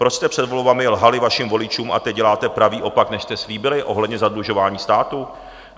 Proč jste před volbami lhali vašim voličům a teď děláte pravý opak, než jste slíbili ohledně zadlužování státu?